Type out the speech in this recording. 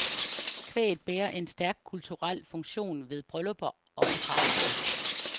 Kvæget bærer en stærk kulturel funktion ved bryllupper og begravelser.